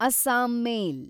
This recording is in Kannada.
ಅಸ್ಸಾಂ ಮೇಲ್